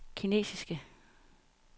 kinesiske